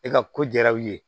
E ka ko jaar'u ye